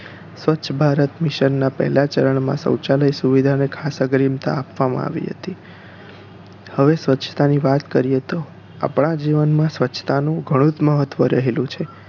સ્વચ્છ ભારત mission ના પહેલાં ચરણ માં શૌચાલય સુવિધા ને ખાસ અગ્રીમતા આપવામાં આવી હતી હવે સ્વચ્છતાની વાત કરીયે તો આપણાં જીવન માં સ્વચ્છતા નું ઘણું જ મહત્વ રહેલું છે